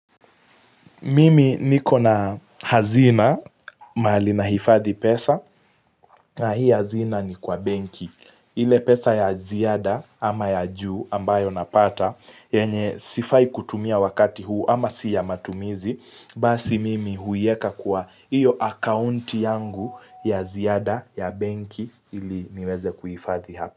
Mimi niko na hazina mahali nahifadhi pesa na hii hazina ni kwa benki. Ile pesa ya ziada ama ya juu ambayo napata, yenye sifai kutumia wakati huu ama si ya matumizi, basi mimi huiweka kwa iyo akaunti yangu ya ziada ya benki ili niweze kuhifadhi hapo.